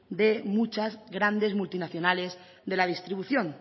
de muchas grandes multinacionales de la distribución